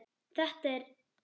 Þetta er